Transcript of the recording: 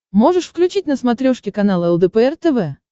можешь включить на смотрешке канал лдпр тв